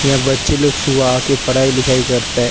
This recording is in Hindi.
यहां बच्चे लोग सुबह आके पढ़ाई लिखाई करते हैं।